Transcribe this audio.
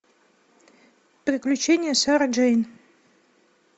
приключения сары джейн